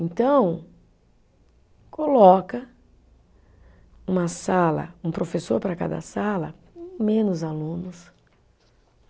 Então, coloca uma sala, um professor para cada sala, menos alunos.